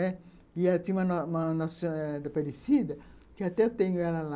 E ela tinha uma uma nos nossa senhora da parecida, que até eu tenho ela lá.